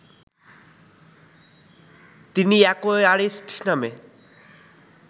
তিনি অ্যাকোয়ারিস্ট নামে